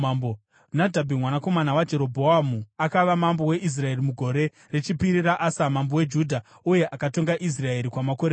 Nadhabhi, mwanakomana waJerobhoamu akava mambo weIsraeri mugore rechipiri raAsa mambo weJudha, uye akatonga Israeri kwamakore maviri.